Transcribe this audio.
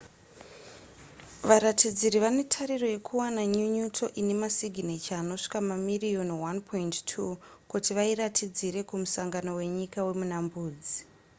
varatidziri vane tariro yekuwana nyunyuto ine masiginecha anosvika mamiriyoni 1.2 kuti vairatidzire kumusangano wenyika wemuna mbudzi